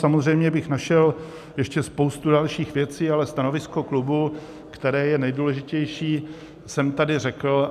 Samozřejmě bych našel ještě spoustu dalších věcí, ale stanovisko klubu, které je nejdůležitější, jsem tady řekl.